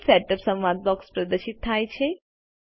page setup સંવાદ box પ્રદર્શિત થાય છે